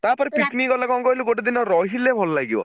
ତାପରେ picnic ଗଲେ କଣ କହିଲୁ ଗୋଟେଦିନ ରହିଲେ ଭଲ ଲାଗିବ।